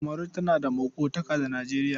Kamaru tana maƙotaka da Nijeriya.